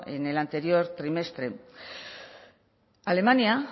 en el anterior trimestre alemania